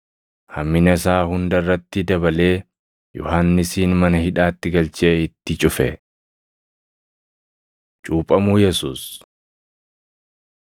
hammina isaa hunda irratti dabalee Yohannisin mana hidhaatti galchee itti cufe. Cuuphamuu Yesuus 3:21,22 kwf – Mat 3:13‑17; Mar 1:9‑11 3:23‑38 kwf – Mat 1:1‑17